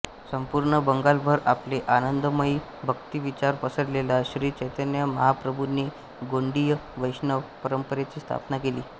संपूर्ण बंगालभर आपले आनंदमयी भक्ती विचार पसरलेल्या श्री चैतन्य महाप्रभुंनी गौडीय वैष्णव परंपरेची स्थापना केली